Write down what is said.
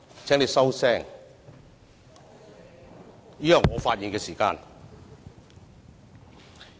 請你收聲，現在是我的發言時間。